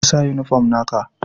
Ka sa uniform na ka!